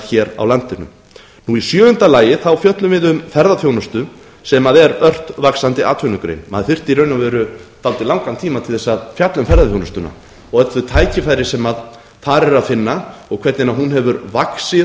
tónlistariðnaðar á landinu í sjöunda lagi fjöllum við um ferðaþjónustu sem er ört vaxandi atvinnugrein maður þyrfti í raun og veru dálítið langan tíma til að fjalla um ferðaþjónustuna og öll þau tækifæri sem þar er að finna og hvernig hún hefur vaxið